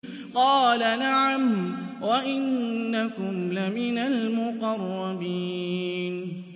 قَالَ نَعَمْ وَإِنَّكُمْ لَمِنَ الْمُقَرَّبِينَ